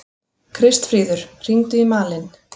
Kristfríður, hringdu í Malin.